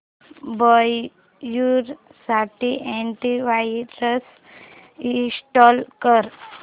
browser साठी antivirus install कर